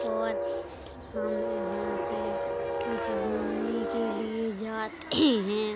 और हम यहां पे कुछ घूमने के लिए जाते हैं।